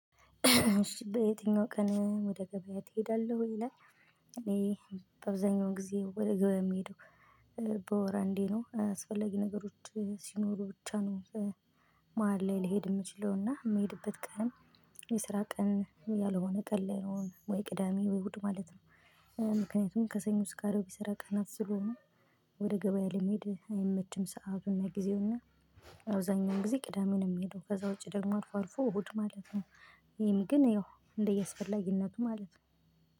እሺ በየትኛው ቀን ወደ ገበያ ትሄዳለህ ወይ ይላል። እኔ በአብዛኛው ጊዜ ወደ ገበያ የሚሄደው በወር እንዴት ነው። አስፈለግ ነገሮች ሲኖሩ ብቻ ነው። መሃል ላይ ልሄድ የምችለውና የምሄድበት ቀን የስራ ቀን ያልሆነ ቀን ላይ ነው፣ ወይ ቅዳሜ ወይ እሁድ ማለት ነው። ምክንያቱም ከሰኞ እስከ አርብ የስራ ቀናት ስለሆኑ ወደ ገበያ ለመሄድ አይመችም ሰዓቱ እና ጊዜው። እና አውዘኛው ጊዜ ቅዳሜ ነው የምሄደው። ከዛ ውጪ ደግሞ አርፎ አርፎ እሁድ ማለት ነው። ይህም ግን ያው እንደያስፈለጊነቱ ማለት ነው።